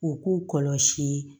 U k'u kɔlɔsi